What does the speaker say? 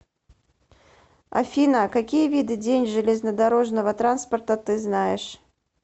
афина какие виды день железнодорожного транспорта ты знаешь